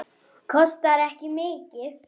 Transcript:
Hvað meira get ég sagt?